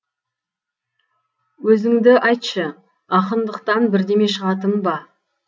өзінді айтшы ақыңдықтан бірдеме шығатын ба